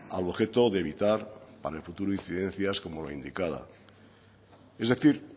al objeto de evitar para el futuro incidencias como la indicada es decir